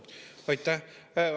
Aitäh!